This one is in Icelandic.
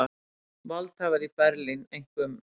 Valdhafar í Berlín, einkum